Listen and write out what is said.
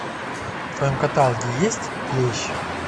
в твоем каталоге есть клещ